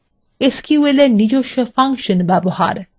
sqlএর নিজস্ব ফাংশান ব্যবহার